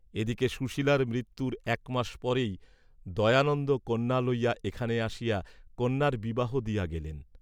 এদিকে সুশীলার মৃত্যুর একমাস পরেই দয়ানন্দ কন্যা লইযা এখানে আসিয়া কন্যার বিবাহ দিয়া গেলেন।